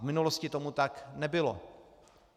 V minulosti tomu tak nebylo.